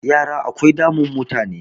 yara akwai damun mutane